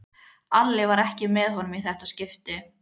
Alli var ekki með honum í þetta skipti.